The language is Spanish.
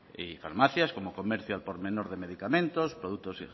y farmacias como comercio al por menor de medicamentos productos